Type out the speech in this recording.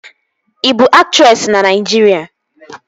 Ị bụ aktresị na Naịjirịa?